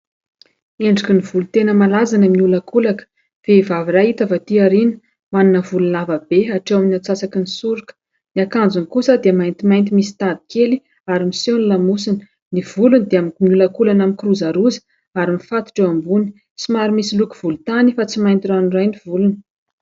Endrikin'ny volo tena malaza ny miolankolaka. Vehivavy iray hita avy aty aoriana, manana volo lava be hatreo amin'ny antsasakin'ny soroka. Ny akanjony kosa dia maintimainty misy tady kely ary miseho ny lamosina, ny volony dia miolankolana, mikirozaroza ary mifatotra eo ambony ; somary misy loko volontany fa tsy mainty ranoray ny volony.